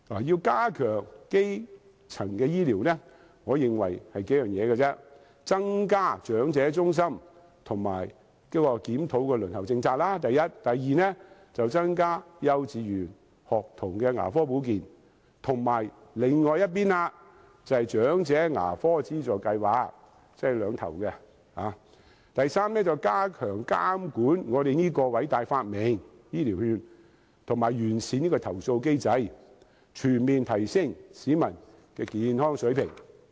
要加強基層醫療，我認為只有數點就是，第一；增加長者健康中心和檢討輪候政策；第二、增加幼稚園學童牙科保健，以及另一邊廂的，長者牙科資助計劃，即首尾兩個方向；第三、加強監管我們這個偉大發明——醫療券——完善其投訴機制；及最後，全面提升市民的健康水平。